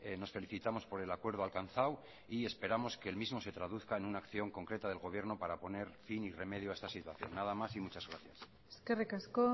nos felicitamos por el acuerdo alcanzado y esperamos que el mismo se traduzca en una acción concreta del gobierno para poner fin y remedio a esta situación nada más y muchas gracias eskerrik asko